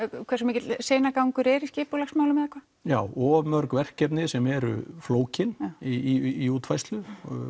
hversu mikill seinagangur er í skipulagsmálum eða hvað já of mörg verkefni sem eru flókin í útfærslu